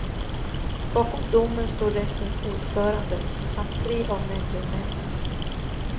Bakom domen står rättens ordförande samt tre av nämndemännen.